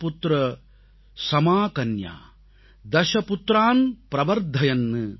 தஸபுத்ர ஸமாகன்யா தஸபுத்ரான் ப்ரவர்த்தயன்